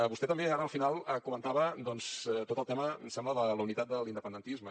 vostè també ara al final comentava doncs tot el tema em sembla de la unitat de l’independentisme